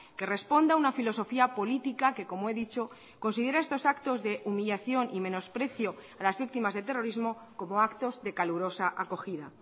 que responda a una filosofía política que como he dicho considera estos actos de humillación y menosprecio a las víctimas del terrorismo como actos de calurosa acogida